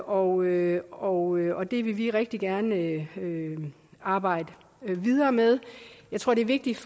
og og det vil vi rigtig gerne arbejde videre med jeg tror det er vigtigt